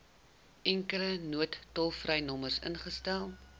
enkele noodtolvrynommer ingestel